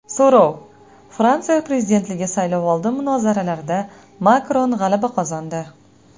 So‘rov: Fransiya prezidentligi saylovoldi munozaralarida Makron g‘alaba qozondi.